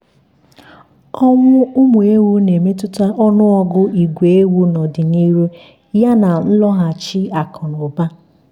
ọnwụ ụmụ ewu na-emetụta ọnụọgụ igwe ewu n'ọdịnihu yana nloghachi akụ na ụba.